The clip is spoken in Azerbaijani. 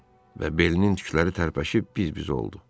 Və belinin tükləri tərpəşib biz-biz oldu.